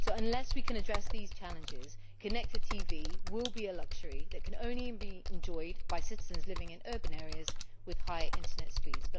Unless we can address these challenges, connected TV will be a luxury which can only be enjoyed by citizens living in urban areas with high Internet speeds.